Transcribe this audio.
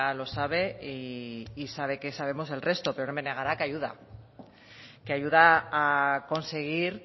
lo sabe y sabe que sabemos el resto pero no me negará que ayuda que ayuda a conseguir